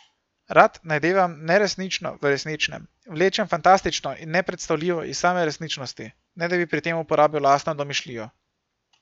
Rad najdevam neresnično v resničnem, vlečem fantastično in nepredstavljivo iz same resničnosti, ne da bi pri tem uporabil lastno domišljijo.